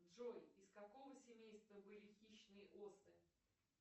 джой из какого семейства были хищные осы